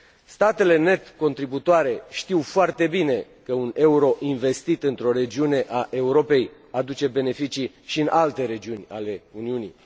Statele net contribuabile știu foarte bine că un euro investit într o regiune a Europei aduce beneficii și în alte regiuni ale Uniunii.